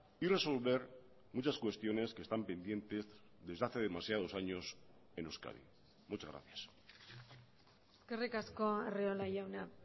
y resolver muchas cuestiones que están pendientes desde hace demasiados años en euskadi muchas gracias eskerrik asko arriola jauna